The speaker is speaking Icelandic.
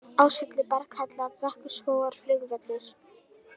Ásvellir, Berghella, Brekkuskógar, Flugvellir